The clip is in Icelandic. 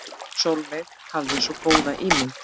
Sólveig hafði svo góða ímynd.